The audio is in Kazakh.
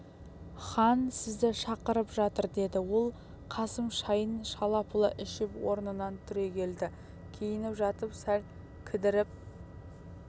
хан сізді шақырып жатыр деді ол қасым шайын шала-пұла ішіп орнынан түрегелді киініп жатып сәл кідіріп